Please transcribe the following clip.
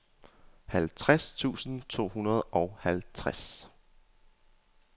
halvtreds tusind to hundrede og halvtreds